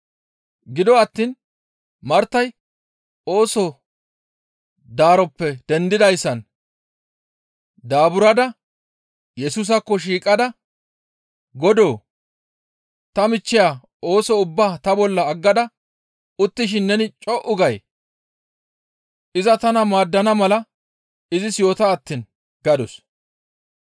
Gido attiin Martay ooso daroppe dendidayssan daaburada Yesusaakko shiiqada, «Godoo! Ta michchiya ooso ubbaa ta bolla aggada uttishin neni co7u gay? Iza tana maaddana mala izis yoota attiin» gadus.